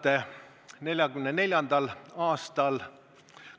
1944. aastal